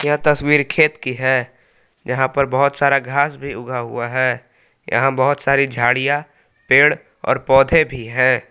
यह तस्वीर खेत की है जहां पर बहुत सारा घास भी उगा हुआ है यहां बहुत सारी झाड़ियां पेड़ और पौधे भी हैं।